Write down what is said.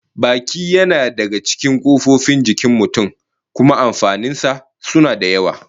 Baki yana daya daga cikin kofofin jikin mutum, kuma amfanin sa suna da yawa